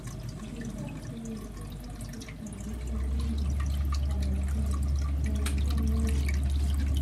bin talk say we set one fixed money every month for maintain for maintain wey we dey share.